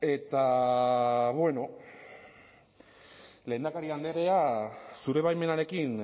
eta bueno lehendakari andrea zure baimenarekin